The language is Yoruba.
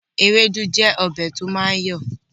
Ewédú jẹ́ ọbẹ̀ to máa ń yọ̀ọ̀